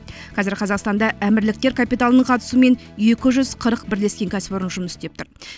қазір қазақстанда әмірліктер капиталының қатысуымен екі жүз қырық бірлескен кәсіпорын жұмыс істеп тұр